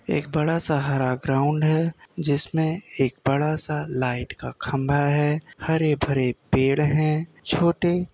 एक बड़ा सा हरा ग्राउंड है। जिसमें एक बड़ा सा लाइट का खंभा है। हरे भरे पेड़ हैं। छोटे --